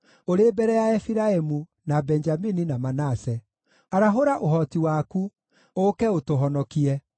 ũrĩ mbere ya Efiraimu, na Benjamini, na Manase. Arahũra ũhoti waku, ũũke ũtũhonokie.